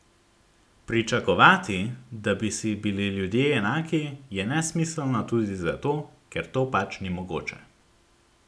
Pričakovati, da bi si bili ljudje enaki je nesmiselno tudi zato, ker to pač ni mogoče.